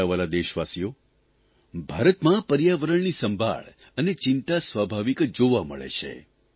મારા વ્હાલા દેશવાસીઓ ભારતમાં પર્યાવરણની સંભાળ અને ચિંતા સ્વાભાવિક જ જોવા મળે છે